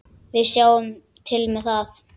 Við sjáum til með það.